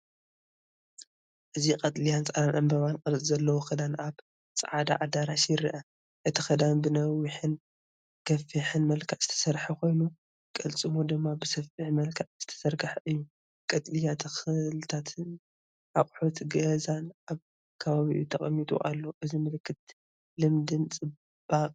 እዚ ቀጠልያን ጻዕዳን ዕምባባ ቅርጺ ዘለዎ ክዳን ኣብ ጻዕዳ ኣዳራሽ ይረአ። እቲ ክዳን ብነዊሕን ገፊሕን መልክዕ ዝተሰርሐ ኮይኑ፡ ቅልጽሙ ድማ ብሰፊሕ መልክዕ ዝተዘርገሐ እዩ። ቀጠልያ ተኽልታትን ኣቑሑት ገዛን ኣብ ከባቢኡ ተቀሚጡ ኣሎ። እዚ ምልክት ልምድን ጽባቐን እዩ።